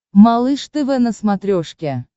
малыш тв на смотрешке